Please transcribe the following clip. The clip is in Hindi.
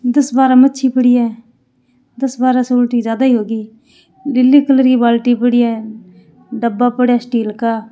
दस बारह मच्छी पड़ी है दस बारह से उलटी ज्यादा ही होगी नीली कलर की बाल्टी पड़ी है डब्बा पड़या है स्टील का।